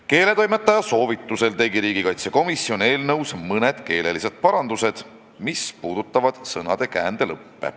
Keeletoimetaja soovitusel tegi komisjon eelnõus mõned keelelised parandused, mis puudutasid sõnade käändelõppe.